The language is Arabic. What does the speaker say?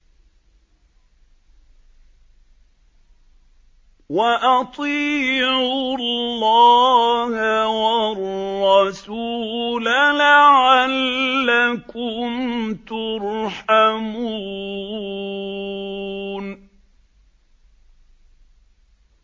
وَأَطِيعُوا اللَّهَ وَالرَّسُولَ لَعَلَّكُمْ تُرْحَمُونَ